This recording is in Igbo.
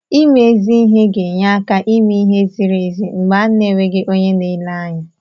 Ime ezi ihe ga-enye áká ime ihe ziri ezi mgbe a na-enweghị onye na-ele anya.